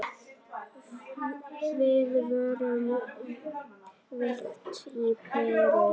Við vorum svekkt og pirruð.